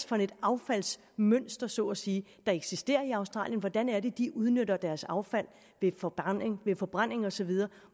for et affaldsmønster så at sige der eksisterer i australien hvordan det er de udnytter deres affald ved forbrænding ved forbrænding og så videre